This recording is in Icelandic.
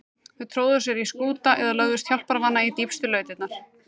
Þau tróðu sér í skúta eða lögðust hjálparvana í dýpstu lautirnar.